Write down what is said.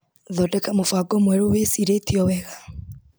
Thondeka mũbango mwerũ wĩcirĩtio wega.